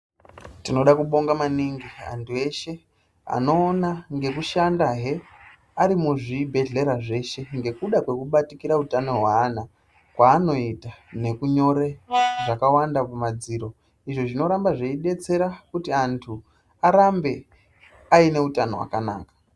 Tinoda kubonga maningi antu eshe anoona nekushandahe ari muzvibhedhlera zveshe ngekuda kwekubatikira utano hweana kwaanoita nekunyora zvakawanda kumadziro izvo zvinoramba zveidetsera kuti antu arambe aine utano hwakanaka.